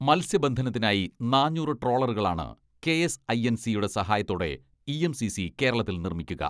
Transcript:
മൽസ്യബന്ധനത്തിനായി നാന്നൂറ് ട്രോളറുകളാണ് കെഎസ്ഐഎൻസിയുടെ സഹായത്തോടെ ഇഎംസിസി കേരളത്തിൽ നിർമ്മിക്കുക.